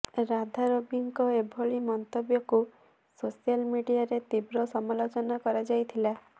ରାଧା ରବିଙ୍କ ଏଭଳି ମନ୍ତବ୍ୟକୁ ସୋଶାଲ୍ ମିଡିଆରେ ତୀବ୍ର ସମାଲୋଚନା କରାଯାଇଥିଲା